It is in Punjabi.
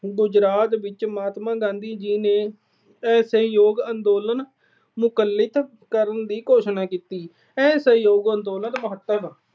ਗੁਜਰਾਤ ਵਿੱਚ ਮਹਾਤਮਾ ਗਾਂਧੀ ਜੀ ਨੇ ਅਸਹਿਯੋਗ ਅੰਦੋਲਨ ਨੂੰ ਮੁਅੱਤਲ ਕਰਨ ਦੀ ਘੋਸ਼ਣਾ ਕੀਤੀ। ਅਸਹਿਯੋਗ ਅੰਦੋਲਨ